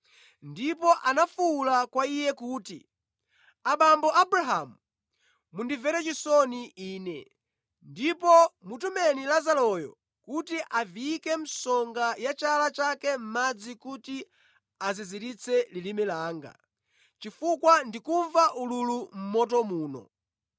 Ndipo anafuwula kwa iye kuti, ‘Abambo Abrahamu, mundimvere chisoni ine ndipo mutumeni Lazaroyo kuti aviyike msonga ya chala chake mʼmadzi kuti aziziritse lilime langa, chifukwa ndikumva ululu mʼmoto muno.’